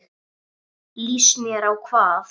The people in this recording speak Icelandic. Líst mér á hvað?